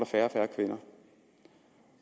færre og færre kvinder